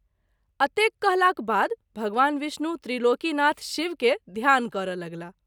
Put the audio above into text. अतेक कहलाक बाद भगवान विष्णु त्रिलोकीनाथ शिव के ध्यान करय लगलाह।